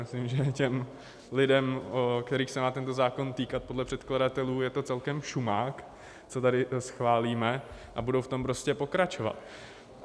Myslím, že těm lidem, kterých se má tento zákon týkat podle předkladatelů, je to celkem šumák, co tady schválíme, a budou v tom prostě pokračovat.